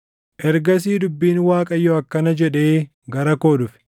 Ergasii dubbiin Waaqayyoo akkana jedhee gara koo dhufe: